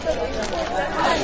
Samirə elə bil Nərgizdir.